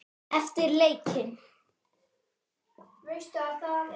Eftir leikinn?